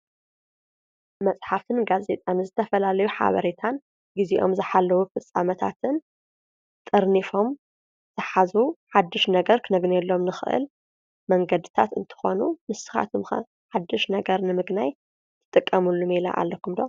መፅሓፍን ጋዜጣን ዝተፈላለዩ ሓበሬታን ጊዜኦም ዝሓለዉ ፍፃመታትን ጠርኒፎም ዝሓዙ ሓድሽ ነገር ክነግንየሎም ንኽእል መንገድታት እንትኾኑ ንስኻትኩም ከ ሓድሽ ነገር ንምግናይ ትጥቀሙሉ ሜላ ኣለኩም ዶ?